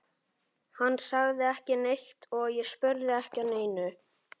Hann sagði ekki neitt og ég spurði ekki að neinu.